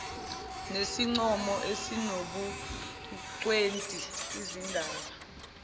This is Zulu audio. nesincomo esinobungcweti lzindaba